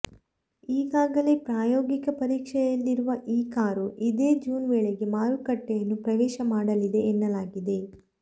ಈಗಾಗಲೇ ಪ್ರಾಯೋಗಿಕ ಪರೀಕ್ಷೆಯಲ್ಲಿರುವ ಈ ಕಾರು ಇದೇ ಜೂನ್ ವೇಳೆಗೆ ಮಾರುಕಟ್ಟೆಯನ್ನು ಪ್ರವೇಶ ಮಾಡಲಿದೆ ಎನ್ನಲಾಗಿದೆ